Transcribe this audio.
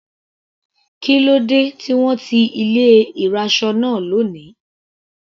Kílódé tí wọ́n ti ilé ìraṣọ náà lóni.